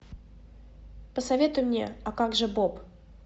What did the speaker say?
посоветуй мне а как же боб